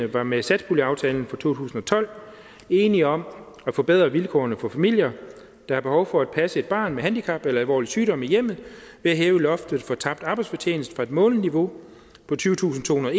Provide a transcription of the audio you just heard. var med satspuljeaftalen for to tusind og tolv enige om at forbedre vilkårene for familier der har behov for at passe et barn med handicap eller alvorlig sygdom i hjemmet ved at hæve loftet for tabt arbejdsfortjeneste fra et månedligt niveau på tyvetusinde og